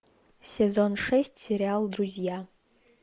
сезон шесть сериал друзья